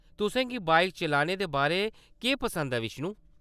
तुसें गी बाइक चलाने दे बारै केह्‌‌ पसंद ऐ, बिष्णु ?